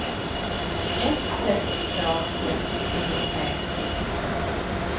ett sex två ett femtiotre sexhundrasextio